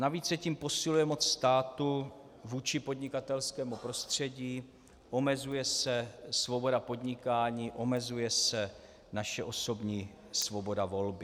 Navíc se tím posiluje moc státu vůči podnikatelskému prostředí, omezuje se svoboda podnikání, omezuje se naše osobní svoboda volby.